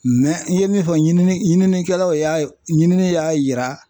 Mɛ n ye min fɔ ɲini ɲininikɛlaw y'a ye, ɲinini y'a yira